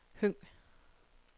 Høng